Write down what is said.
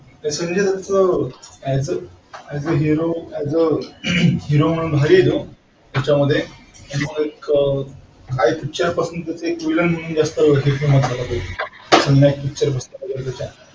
त्या संजय दत्त चा as a hero म्हणून भारी हे तो त्याचामध्ये एक हा एक picture एक villain म्हणून जास्त महोतवाचा आहे खलनायक picture बघता